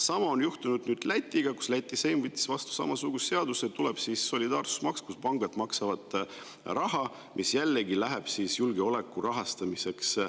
Sama on juhtunud Lätis, kus seim võttis vastu samasuguse seaduse: tuleb solidaarsusmaks, mida maksavad pangad ja mis jällegi läheb julgeoleku rahastamiseks.